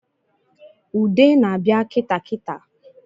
Ude na-abịa kitaa kitaa